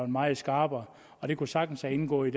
meget skarpere og det kunne sagtens være indgået i